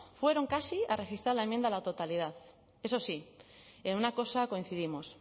fueron casi a registrar la enmienda a la totalidad eso sí en una cosa coincidimos